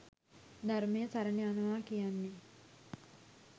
ධර්මය සරණ යනවා කියන්නේ.